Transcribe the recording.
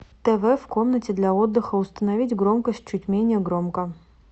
тв в комнате для отдыха установить громкость чуть менее громко